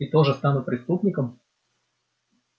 и тоже стану преступником